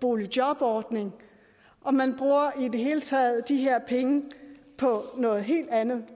boligjobordning og man bruger i det hele taget de her penge på noget helt andet